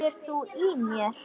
HEYRIR ÞÚ Í MÉR?!